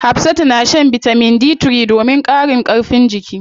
Hafsatu na shan bitamin D3 domin ƙarin karfin jiki.